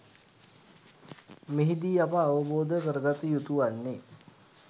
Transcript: මෙහිදී අප අවබෝධ කරගත යුතු වන්නේ